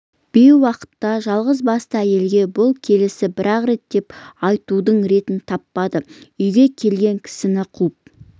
бейуақытта жалғыз басты әйелге бұл келісі бірақ кет деп айтудың ретін таппады үйге келген кісіні қуып